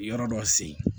Yɔrɔ dɔ sen